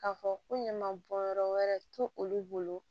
K'a fɔ ko ɲaman bɔn yɔrɔ wɛrɛ to olu bolo